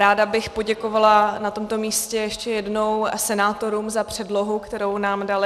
Ráda bych poděkovala na tomto místě ještě jednou senátorům za předlohu, kterou nám dali.